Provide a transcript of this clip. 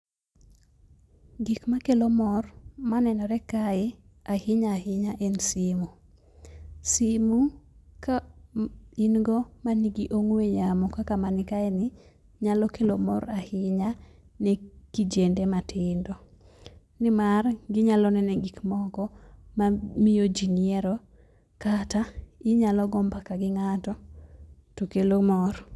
Gik makelo mor manenore kae ahinya ahinya en simu. Simu ka in go manigi ong'we yamo kaka mani kae ni nyalo kelo mor ahinya ne kijende matindo, nimar ginyalo nene gik moko mamiyo jii nyiero kata inyalo goo mbaka gi ng'ato to kelo mor.